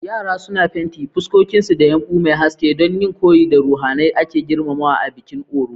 Yara suna fenti fuskokinsu da yumbu mai haske don yin koyi da ruhohin da ake girmamawa a bikin Oro.